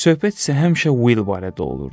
Söhbət isə həmişə Will barədə olurdu.